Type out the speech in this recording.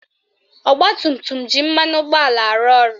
Ọgbatumtum ji mmanụ ụgbọala arụ ọrụ